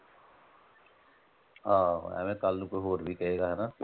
ਆਹੋ ਐਵੇਂ ਕੱਲ ਨੂੰ ਕੋਈ ਹੋਰ ਵੀ ਹਣਾ।